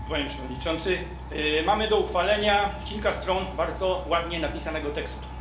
Panie Przewodniczący! Mamy do uchwalenia kilka stron bardzo ładnie napisanego tekstu.